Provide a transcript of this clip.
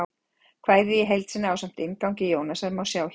Kvæðið í heild sinni, ásamt inngangi Jónasar, má sjá hér.